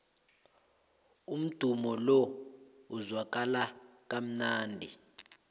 umdumo lo uzwakala kamnandi